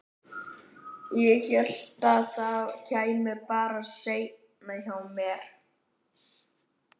Ég hélt að það kæmi bara seinna hjá mér.